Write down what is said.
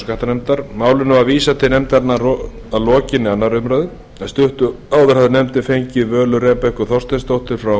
skattanefndar málinu var vísað til nefndarinnar að lokinni annarri umræðu en stuttu áður hafði nefndin fengið völu rebekku þorsteinsdóttur frá